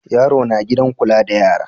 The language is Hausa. Yaro na gidan kula da yara.